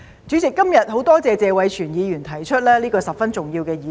主席，今天很多謝謝偉銓議員提出這個十分重要的議題。